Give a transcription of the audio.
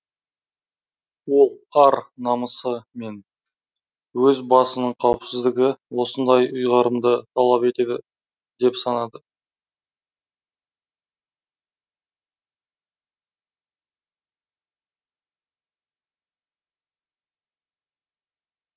ол ар намысы мен өз басының қауіпсіздігі осындай ұйғарымды талап етеді деп санады